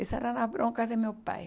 Essas eram as broncas de meu pai.